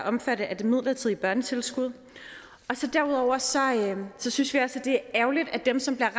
omfattet af det midlertidige børnetilskud derudover synes vi at det er ærgerligt at dem som bliver